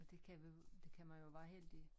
Det kan det kan man jo være heldig